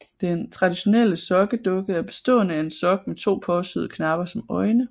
Den traditionelle sokkedukke er bestående af en sok med to påsyede knapper som øjne